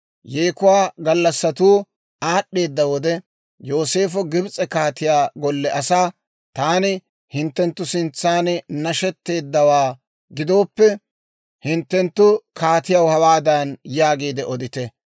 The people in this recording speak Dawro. Yeekuwaa gallassatuu aad'd'eedda wode, Yooseefo Gibs'e kaatiyaa golle asaa, «Taani hinttenttu sintsan nashetteeddawaa gidooppe, hinttenttu kaatiyaw hawaadan yaagiide odite;